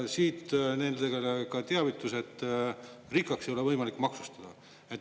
Siit nendele ka teavitus, et rikkaks ei ole võimalik maksustada.